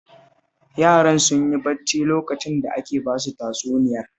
Yaran sun yi bacci lokacin da ake ba su tatsuniyar